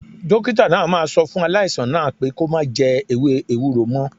Dókítà náà máa sọ fún aláìsàn náà pé kó má jẹ ewé ewúro mo